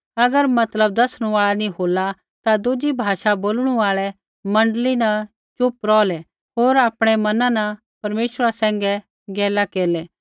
अगर मतलब दसणु आल़ा नी होला ता दुज़ी भाषा बोलणु आल़ै मण्डली न च़ुप रौहलै होर आपणै मना न परमेश्वरा सैंघै गैला केरला